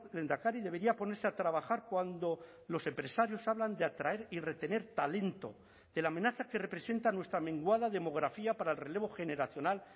lehendakari debería ponerse a trabajar cuando los empresarios hablan de atraer y retener talento de la amenaza que representa nuestra menguada demografía para el relevo generacional